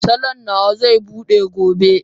Salon nawa zai bude gobe